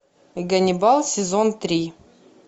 ганнибал сезон три